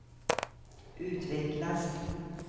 utvecklas